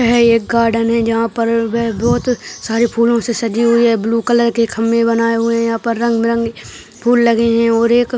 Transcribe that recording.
यह एक गार्डन है जहाँ पर वे बहोत सरे फूलों से सजी हुई है ब्लू कलर के खम्बे बनाये हुये हैं यहाँ पर रंग बिरंगे फूल लगे हुए हैं और एक --